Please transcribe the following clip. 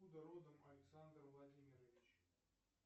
откуда родом александр владимирович